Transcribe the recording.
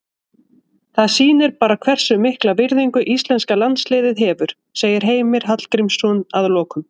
Það sýnir bara hversu mikla virðingu íslenska landsliðið hefur, segir Heimir Hallgrímsson að lokum.